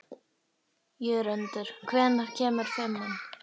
Jörundur, hvenær kemur fimman?